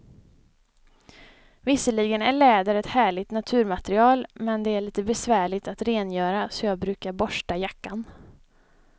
Visserligen är läder ett härligt naturmaterial, men det är lite besvärligt att rengöra, så jag brukar borsta jackan.